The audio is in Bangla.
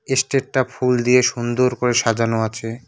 এসটেটটা ফুল দিয়ে সুন্দর করে সাজানো আছে।